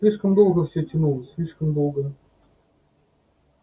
слишком долго всё тянулось слишком долго